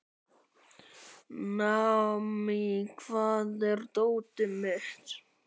Naomí, hvar er dótið mitt?